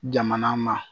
Jamana ma